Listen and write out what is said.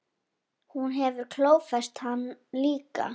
Hún hefur klófest hann líka.